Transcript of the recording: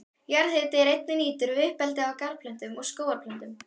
Jarðhiti er einnig nýttur við uppeldi á garðplöntum og skógarplöntum.